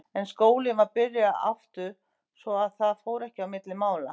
En skólinn var byrjaður aftur svo að það fór ekki á milli mála.